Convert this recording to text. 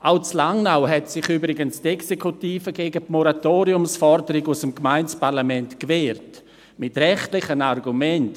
Auch in Langnau hat sich übrigens die Exekutive mit rechtlichen Argumenten gegen die Moratoriumsforderung aus dem Gemeindeparlament gewehrt.